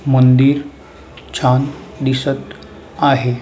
मंदिर छान दिसत आहे.